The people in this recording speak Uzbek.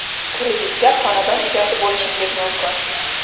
kreditga xonadon egasi bo‘lishingiz mumkin.